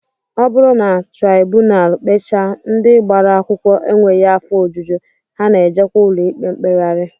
Ọ bụrụ na traibunal kpechaa, ndị gbara akwụkwọ enweghị afọ ojuju, ha na-ejewe ụlọikpe mkpegharị